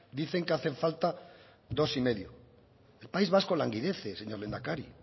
dicen que hace falta dos coma cinco el país vasco languidece señor lehendakari